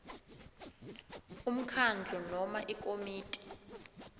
umkhandlu noma ikomiti